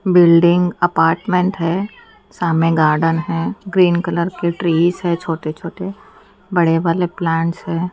Building apartment है सामने garden है ग्रीन कलर के ट्रीस है छोटे-छोटे बड़े वाले प्लांट्स है।